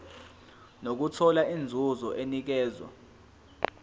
nokuthola inzuzo enikezwa